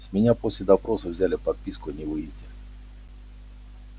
с меня после допроса взяли подписку о невыезде